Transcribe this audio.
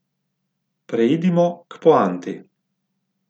Preidimo k poanti.